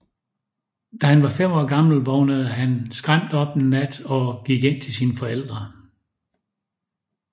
Da han var fem år gammel vågnede han skræmt op en nat og gik ind til sine forældre